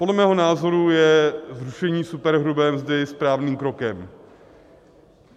Podle mého názoru je zrušení superhrubé mzdy správným krokem.